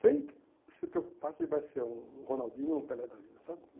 sem se preocupar que vai ser um um Ronaldinho, um Pelé da vida, sabe?